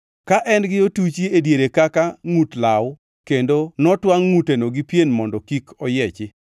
ka en gi otuchi e diere kaka ngʼut law kendo notwangʼ ngʼuteno gi pien mondo kik oyiechi.